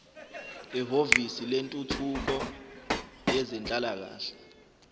ehhovisi lentuthuko yezenhlalakahle